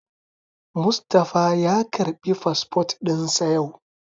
Mustapha ya karɓi fasfot ɗin sa yau